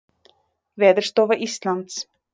Veðurstofa Íslands.